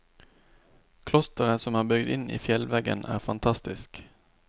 Klosteret som er bygd inn i fjellveggen er fantastisk.